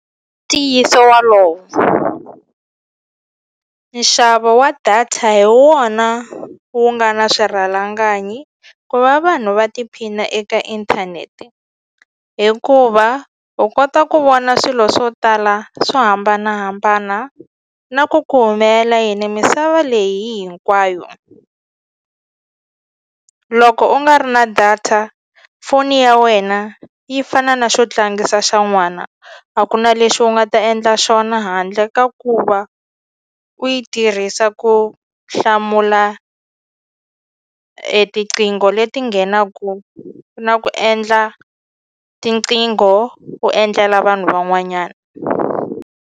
Ntiyiso walowo nxavo wa data hi wona wu nga na swirhalanganyi ku va vanhu va tiphina eka inthanete hikuva u kota ku vona swilo swo tala swo hambanahambana na ku ku humelela yini misava leyi hinkwayo loko u nga ri na data foni ya wena yi fana na xo tlangisa xa n'wana a ku na lexi u nga ta endla xona handle ka ku va u yi tirhisa ku hlamula e tiqingho leti nghenaku na ku endla tinqingho u endlela vanhu van'wanyana.